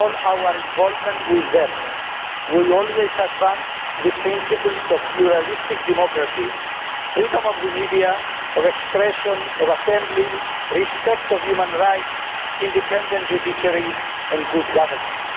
In all our involvement with them we have always advanced the principles of pluralistic democracy, freedom of the media, of expression and of assembly, respect for human rights, an independent judiciary, and good governance.